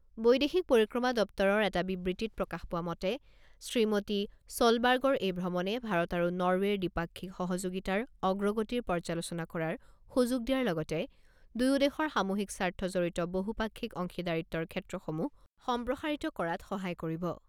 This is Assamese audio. বৈদেশিক পৰিক্ৰমা দপ্তৰৰ এটা বিবৃতিত প্ৰকাশ পোৱা মতে, শ্ৰীমতী ছলবাৰ্গৰ এই ভ্ৰমণে ভাৰত আৰু নৰৱেৰ দ্বিপাক্ষিক সহযোগিতাৰ অগ্ৰগতিৰ পৰ্যালোচনা কৰাৰ সুযোগ দিয়াৰ লগতে দুয়ো দেশৰ সামূহিক স্বাৰ্থ জড়িত বহুপাক্ষিক অংশিদাৰিত্বৰ ক্ষেত্ৰসমূহ সম্প্ৰসাৰিত কৰাত সহায় কৰিব।